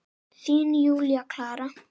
Þín, Júlía Klara.